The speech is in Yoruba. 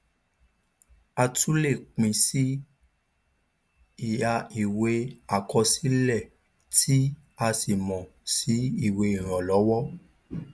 a tún lè pín sí iha ìwé àkọsílẹ tí a sì mọ sí ìwé ìrànlọwọ